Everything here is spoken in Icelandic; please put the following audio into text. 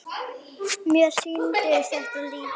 Mér sýndist þetta líka.